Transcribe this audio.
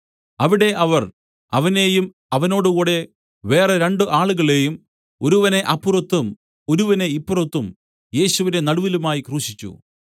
അവിടെ അവർ അവനെയും അവനോടുകൂടെ വേറെ രണ്ടു ആളുകളെയും ഒരുവനെ അപ്പുറത്തും ഒരുവനെ ഇപ്പുറത്തും യേശുവിനെ നടുവിലുമായി ക്രൂശിച്ചു